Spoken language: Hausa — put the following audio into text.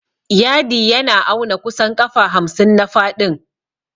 Yadi yana auna kusan ƙafa hamsin a faɗin.